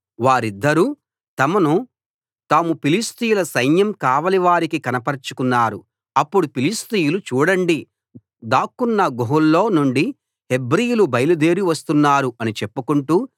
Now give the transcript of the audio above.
వారిద్దరూ తమను తాము ఫిలిష్తీయుల సైన్యం కావలి వారికి కనపరచుకున్నారు అప్పుడు ఫిలిష్తీయులు చూడండి దాక్కున్న గుహల్లో నుండి హెబ్రీయులు బయలుదేరి వస్తున్నారు అని చెప్పుకొంటూ